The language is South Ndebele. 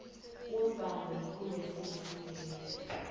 umbalo yikumbesi ngesindebele